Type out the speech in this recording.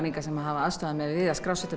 Inga sem hafa aðstoðað mig við að skrá